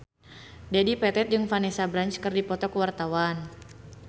Dedi Petet jeung Vanessa Branch keur dipoto ku wartawan